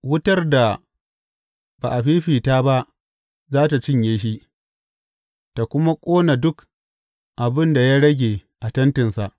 Wutar da ba a fifita ba za tă cinye shi ta kuma ƙona duk abin da ya rage a tentinsa.